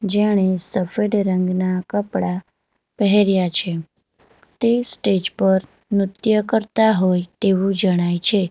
જેણે સફેડ રંગના કપડા પહેર્યા છે તે સ્ટેજ પર નૃત્ય કરતા હોય ટેવું જણાય છે.